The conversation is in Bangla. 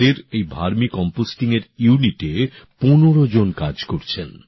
আজ ওঁদের এই ভার্মি কম্পোস্টিং ইউনিটে ১৫জন কাজ করছেন